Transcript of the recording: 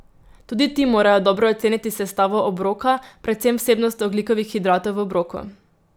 Tudi ti morajo dobro oceniti sestavo obroka, predvsem vsebnost ogljikovih hidratov v obroku.